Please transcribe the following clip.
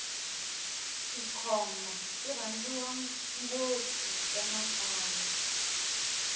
tikhomba ti rhandziwa ngopfu emakaya